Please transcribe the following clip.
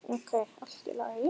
Ókei, allt í lagi.